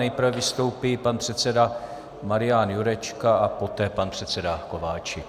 Nejprve vystoupí pan předseda Marian Jurečka a poté pan předseda Kováčik.